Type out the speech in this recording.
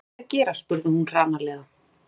Hvað ertu að gera? spurði hún hranalega.